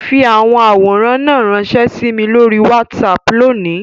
Fi awọn aworan náà ranṣẹ si mi lori WhatsApp loni!